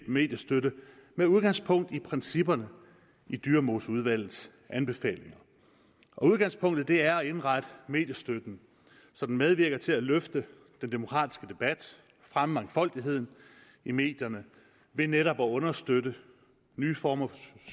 mediestøtte med udgangspunkt i principperne i dyremoseudvalgets anbefalinger udgangspunktet er at indrette mediestøtten så den medvirker til at løfte den demokratiske debat fremme mangfoldigheden i medierne ved netop at understøtte nye former for